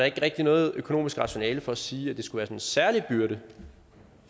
ikke rigtig noget økonomisk rationale for at sige at det skulle være sådan en særlig byrde